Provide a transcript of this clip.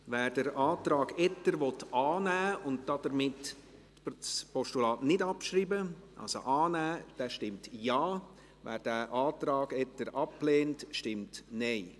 Wer den Antrag Etter annehmen und damit das Postulat nicht abschreiben will – also annehmen –, stimmt Ja, wer den Antrag Etter ablehnt, stimmt Nein.